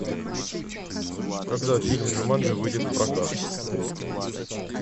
когда фильм джуманджи выйдет в прокат